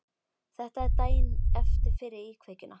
Þetta er daginn eftir fyrri íkveikjuna.